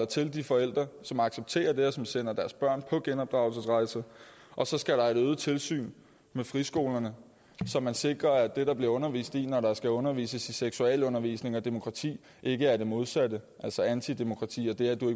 til de forældre som accepterer det og som sender deres børn på genopdragelsesrejse og så skal der et øget tilsyn med friskolerne som sikrer at det der bliver undervist i når der skal undervises i seksualundervisning og demokrati ikke er det modsatte altså antidemokrati og det at du